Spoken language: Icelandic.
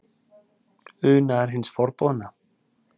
Unaður hins forboðna?